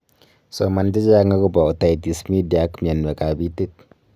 soman chechang agoba ototos media ak myanwek ab itit